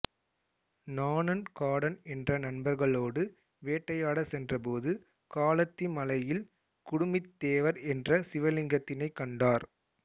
நாணன் காடன் என்ற நண்பர்களோடு வேட்டையாட சென்றபோது காளத்தி மலையில் குடுமித் தேவர் என்ற சிவலிங்கத்தினை கண்டார்